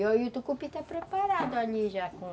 E o tucupi está preparado ali já com...